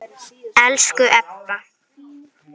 Elsku Ebba.